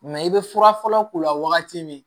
i bɛ fura fɔlɔ k'u la wagati min